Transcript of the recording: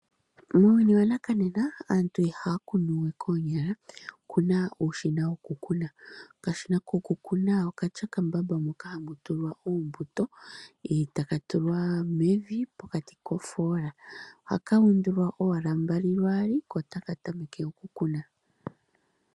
Muuyuni wa nakanena aantu ihaya kunuwe koonyala oku na uushina wokukuna, okashina kokukuna okatya okambamba moka hamu tulwa oombuto e taka tulwa mevi pokati kofola haka undulwa owala mbali lwaali ko otaka tameke oku kuna.